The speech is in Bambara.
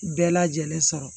Bɛɛ lajɛlen sɔrɔ